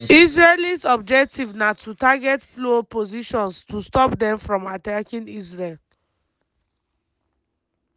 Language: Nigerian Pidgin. israelis objective na to target plo positions to stop dem from attacking israel.